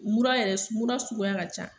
Mura yɛrɛ mura suguya ka ca